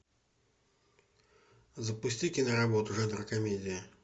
запусти киноработу жанра комедия